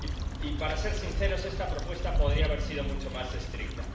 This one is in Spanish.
Y, para ser sinceros, esta propuesta podría haber sido mucho más estricta.